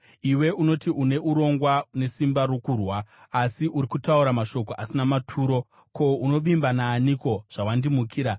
Iwe unoti une urongwa nesimba rokurwa, asi uri kutaura mashoko asina maturo. Ko, unovimba naaniko, zvawandimukira?